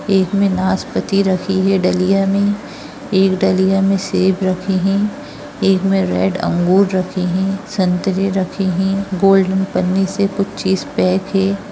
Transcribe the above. एक में नासपती रखी है डलिया में एक डलिया में सेब रखे है एक में रेड मेंअंगूर रखे है संत्रे रखे है गोल्डन पन्नी से कुछ चीज पैक है।